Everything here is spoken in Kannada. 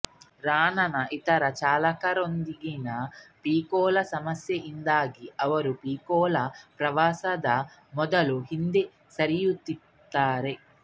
ರಾಣಾನ ಇತರ ಚಾಲಕರೊಂದಿಗಿನ ಪೀಕೂಳ ಸಮಸ್ಯೆಯಿಂದಾಗಿ ಅವರು ಪೀಕೂಳ ಪ್ರವಾಸದ ಮೊದಲು ಹಿಂದೆ ಸರಿಯುತ್ತಾರೆ